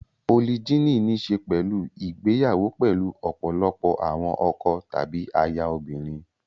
Polygyny ní í ṣe pẹ̀lú ìgbéyàwó pẹ̀lú ọ̀pọ̀lọpọ̀ àwọn ọkọ tàbí aya obìnrin.